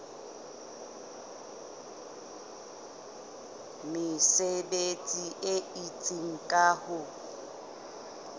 mesebetsi e itseng ka ho